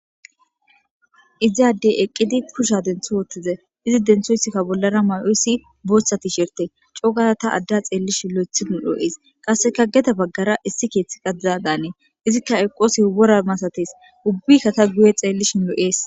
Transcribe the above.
Iss adey eqid kusha denth wothides, izi denthiysika bollara may'i Oys Bootha tisherte co gada tan ada xelishn lo'ethiko lo'izay , qaseka gede bagara issi kethika diza Danes. Izka eqosos wora masates ubika ta guye xelishn lo'es.